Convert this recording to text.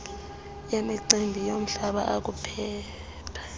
wemicimbi yomhlaba akhuphe